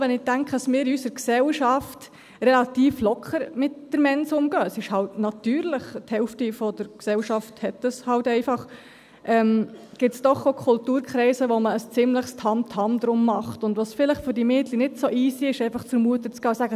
Auch wenn ich denke, dass wir in unserer Gesellschaft relativ locker mit der Mens umgehen – es ist eben natürlich, die Hälfte der Gesellschaft hat das eben einfach –, gibt es doch auch Kulturkreise, in denen man ein ziemliches Tamtam drum macht und es für diese Mädchen vielleicht nicht so easy ist, einfach zur Mutter zu gehen und zu sagen: